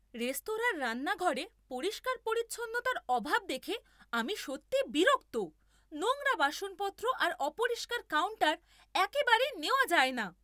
রেস্তোরাঁর রান্নাঘরে পরিষ্কার পরিচ্ছন্নতার অভাব দেখে আমি সত্যিই বিরক্ত। নোংরা বাসনপত্র আর অপরিষ্কার কাউন্টার একেবারেই নেওয়া যায় না।